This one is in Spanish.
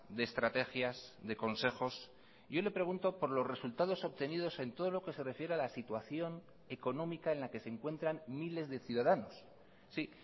de estrategias de consejos yo le pregunto por los resultados obtenidos en todo lo que se refiere a la situación económica en la que se encuentran miles de ciudadanos sí